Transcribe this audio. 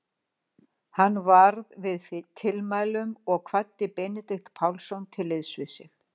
Hann varð við tilmælunum og kvaddi Benedikt Pálsson til liðs við sig.